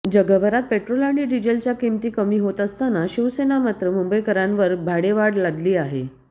जगभरात पेट्रोल आणि डिझेलच्या किमती कमी होत असतांना शिवसेना मात्र मुंबईकरांवर भाडेवाढ लादली आहे